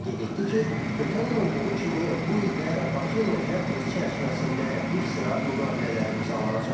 Qeyd etdi ki, ötən il olduğu kimi bu il də Bakı enerji həftəsi çərçivəsində bir sıra müqavilələr imzalanacaq.